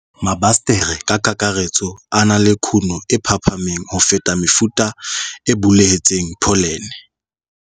Mabasetere ka kakaretso a na le kuno e phahameng ho feta mefuta e bulehetseng pholene.